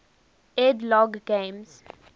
ed logg games